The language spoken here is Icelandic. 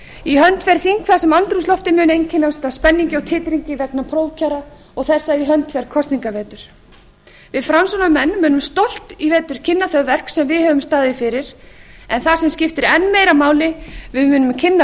í hönd fer þing þar sem andrúmsloftið mun einkennast af spenningi og titringi vegna prófkjara og þess að í hönd fer kosningavetur við framsóknarmenn munum stolt í vetur kynna þau verk sem við höfum staðið fyrir en það sem skiptir enn meira máli við munum kynna